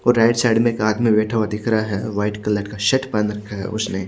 और right side में एक आदमी बेठा हुआ दिख रहा है वाइट कलर का शर्ट बांध रखा है उसने--